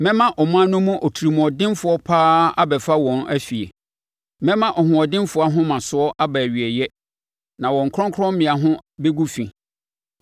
Mɛma aman no mu otirimuɔdenfoɔ pa ara abɛfa wɔn afie; mɛma ɔhoɔdenfoɔ ahomasoɔ aba awieeɛ, na wɔn kronkrommea ho bɛgu fi.